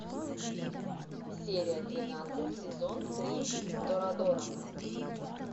серия тринадцать сезон три торадора